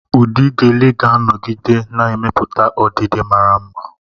Ụdị Gele ga-anọgide na-emepụta ọdịdị mara mma.